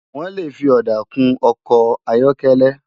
Wòn lé fi òdá kún òkò áyòkèlè